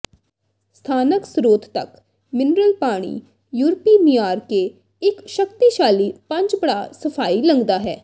ਸਥਾਨਕ ਸਰੋਤ ਤੱਕ ਮਿਨਰਲ ਪਾਣੀ ਯੂਰਪੀ ਮਿਆਰ ਕੇ ਇੱਕ ਸ਼ਕਤੀਸ਼ਾਲੀ ਪੰਜ ਪੜਾਅ ਸਫਾਈ ਲੰਘਦਾ ਹੈ